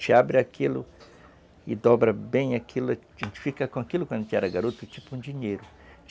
A gente abre aquilo e dobra bem aquilo, a gente fica com aquilo, quando era garoto, tipo um dinheiro.